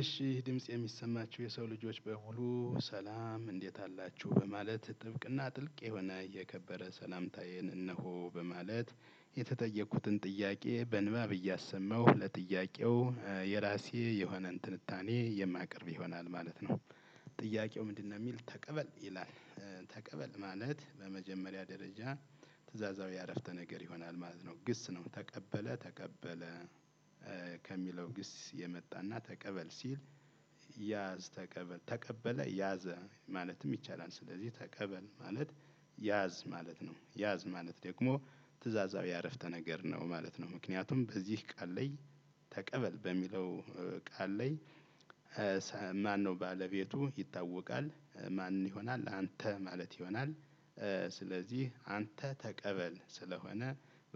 እሺ ድምጽ የሚሰማችሁ የሰው ልጆች በሙሉ ሰላም እንዴት አላችሁ በማለት ጥብቅና ጥልቅ የሆነ የከበረ ሰላምታዬን እነሆ በማለት የተጠየኩትን ጥያቄ በንባብ እያሰማሁ ለጥያቄው የራሴ የሆነን ትንታኔ የማቀርብ ይሆናል ማለት ነው። ጥያቄው ምንድነው የሚል ተቀበል ይላል። ተቀበል ማለት በመጀመሪያ ደረጃ። ትእዛዛዊ አረፍተ ነገር ይሆናል ማለት ነው ግስ ነው ተቀበለ ተቀበለ። ከሚለው ግስ የመጣና ተቀበል ሲል። ያዝ ተቀበል ተቀበለ ያዘ ማለትም ይቻላል። ስለዚህ ተቀበል ማለት ያዝ ማለት ነው። ያዝ ማለት ደግሞ ትእዛዛዊ አረፍተ ነገር ነው ማለት ነው። ምክንያቱም በዚህ ቃል ላይ ተቀበል በሚለው ቃል ላይ? ማነው ባለቤቱ ይታወቃል ማን ይሆናል አንተ ማለት ይሆናል። ስለዚህ አንተ ተቀበል ስለሆነ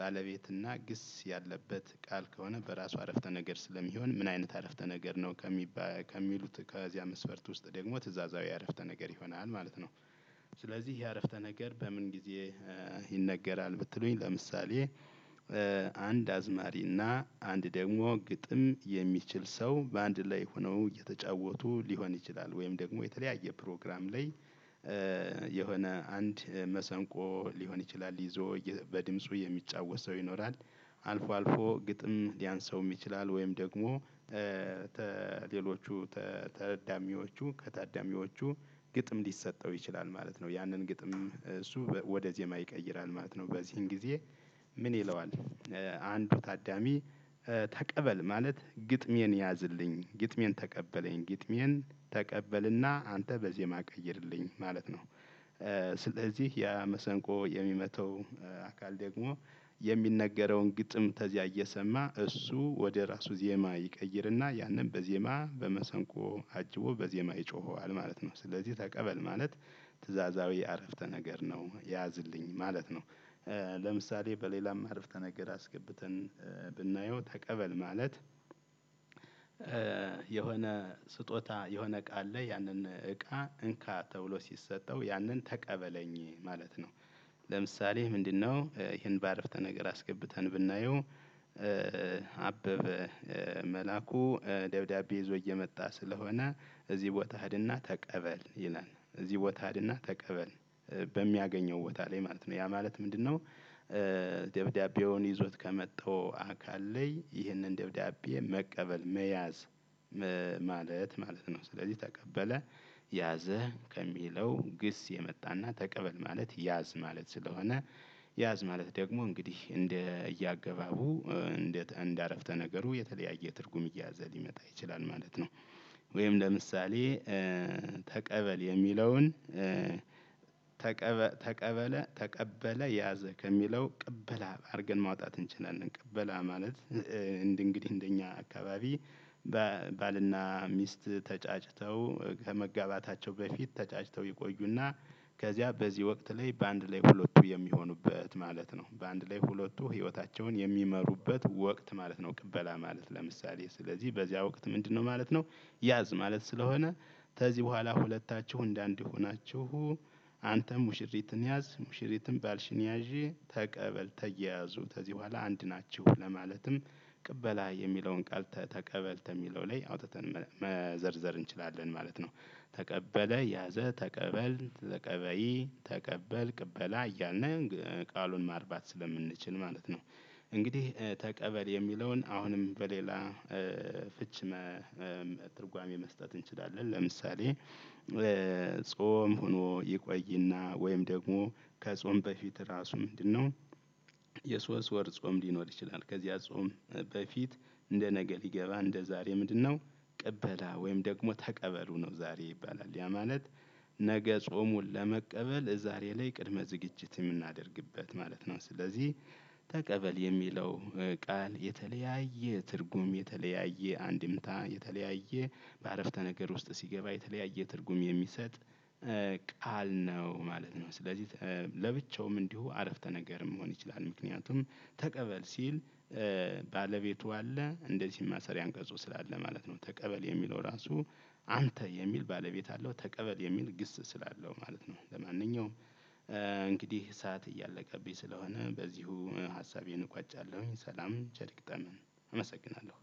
ባለቤትና ግስ ያለበት ቃል ከሆነ በራሱ አረፍተ ነገር ስለሚሆን ምን አይነት አረፍተ ነገር ነው? ከሚሉት ከዚያ መስፈርት ውስጥ ደግሞ ትእዛዛዊ አረፍተ ነገር ይሆናል ማለት ነው። ስለዚህ ይሄ አረፍተ ነገር በምን ጊዜ? ይነገራል ብትሉኝ ለምሳሌ። አንድ አዝማሪ እና አንድ ደግሞ ግጥም የሚችል ሰው በ አንድ ላይ ሆነው እየተጫወቱ ሊሆን ይችላል ወይም ደግሞ የተለያየ ፕሮግራም ላይ። የሆነ አንድ መሰንቆ ሊሆን ይችላል ይዞ በድምፁ የሚጫወት ሰው ይኖራል። አልፎ አልፎ ግጥም ሊያንሰውም ይችላል ወይም ደግሞ። ተሌሎቹ ተታዳሚዎቹ ከታዳሚዎቹ ግጥም ሊሰጠው ይችላል ማለት ነው። ያንን ግጥም እሱ ወደ ዜማ ይቀይራል ማለት ነው። በዚህን ጊዜ ምን ይለዋል? አንዱ ታዳሚ። ተቀበል ማለት ግጥሜን ያዝልኝ ግጥሜን ተቀበለኝ ግጥሜን ተቀበልና አንተ በዜማ ቀይርልኝ ማለት ነው። ስለዚህ ያ መሰንቆ የሚመታው አካል ደግሞ የሚነገረውን ግጥም ተዚያ እየሰማ እሱ ወደ ራሱ ዜማ ይቀይርና ያንን በዜማ በመሰንቆ አጅቦ በዜማ ይጮኸዋል ማለት ነው። ስለዚህ ተቀበል ማለት ትእዛዛዊ አረፍተ ነገር ነው ያዝልኝ ማለት ነው። ለምሳሌ በ አረፍተነገር አስገብተን። ብናየው ተቀበል ማለት። የሆነ ስጦታ የሆነ እቃ አለ ያንን እቃ እንካ ተብሎ ሲሰጠው ያንን ተቀበለኝ ማለት ነው። ለምሳሌ ምንድነው? ይሄን በአረፍተ ነገር አስገብተን ብናየው። አበበ መላኩ ደብዳቤ ይዞ እየመጣ ስለሆነ እዚህ ቦታ ህድና ተቀበል ይላል እዚህ ቦታ ህድና ተቀበል። በሚያገኘው ቦታ ላይ ማለት ነው ያ ማለት ምንድነው? ደብዳቤውን ይዞት ከመጣው አካል ላይ ይህንን ደብዳቤ መቀበል መያዝ ማለት ማለት ነው። ስለዚህ ተቀበለ ያዘ ከሚለው ግስ የመጣና ተቀበል ማለት ያዝ ማለት ስለሆነ። ያዝ ማለት ደግሞ እንግዲህ እንደ እያገባቡ እንደ እንደ አረፍተ ነገሩ የተለያየ ትርጉም እየያዘ ሊመጣ ይችላል ማለት ነው። ወይም ለምሳሌ። ተቀበል የሚለውን ተቀበለ ያዘ ከሚለው ቅበላ አድርገን ማውጣት እንችላለን ቅበላ ማለት እንደ እንግዲህ እንደኛ አካባቢ። ባልና ሚስት ተጫጭተው ከመጋባታቸው በፊት ተጫጭተው ይቆዩና። ከዚያ በዚህ ወቅት ላይ በአንድ ላይ ሁለቱ የሚሆኑበት ማለት ነው በአንድ ላይ ሁለቱ ህይወታቸውን የሚመሩበት ወቅት ማለት ነው። ቅበላ ማለት ለምሳሌ ስለዚህ በዚያ ወቅት ምንድነው ማለት ነው? ያዝ ማለት ስለሆነ ከዚህ በኋላ ሁለታችሁ እንደ አንድ ሆናችሁ። አንተም ሙሽሪትን ያዝ ሙሽሪትም ባልሽን ያዥ ተቀበል ተያያዙ ከዚህ በኋላ አንድ ናቸሁ። ለማለትም ቅበላ የሚለውን ቃል ተቀበል ተሚለው ላይ አውጥተን መዘርዘር እንችላለን ማለት ነው። ተቀበለ ያዘ ተቀበል ተቀበይ ተቀበል ቅበላ እያልነ ቃሉን ማርባት ስለምንችል ማለት ነው። እንግዲህ ተቀበል የሚለውን አሁንም በሌላ ፍች። መ ትርጓሜ መስጠት እንችላለን። ለምሳሌ። ጾም ሆኖ ይቆይና ወይም ደግሞ ከጾም በፊት ራሱ ምንድነው? የሶስት ወር ጾም ሊኖር ይችላል። ከዚያ ጾም በፊት እንደ ነገ ሊገባ እንደ ዛሬ ምንድነው? ቅበላ ወይም ደግሞ ተቀበሉ ነው ዛሬ ይባላል ያ ማለት ነገ ጾሙን ለመቀበል ዛሬ ላይ ቅድመ ዝግጅት የምናደርግበት ማለት ነው። ስለዚህ ተቀበል የሚለው ቃል የተለያየ ትርጉም የተለያየ አንድምታ የተለያየ በ አረፍተ ነገር ውስጥ ሲገባ የተለያየ ትርጉም የሚሰጥ ቃል ነው ማለት ነው። ስለዚህ ለብቻውም እንዲሁ አረፍተ ነገርም መሆን ይችላል። ምክንያቱም ተቀበል ሲል ባለቤቱ አለ እንደዚህም ማሰሪያ አንቀፁ ስላለ ማለት ነው። ተቀበል የሚለው ራሱ አንተ የሚል ባለቤት አለው ተቀበል የሚል ግስ ስላለው ማለት ነው። ለማንኛውም አንግዲህ ሰዓት አያለቀብኝ ስለሆነ በዚሁ ሃሳቤን እቋጫለሁኝ። ሰላም ቸር ይግጠመን አመሰግናለሁ።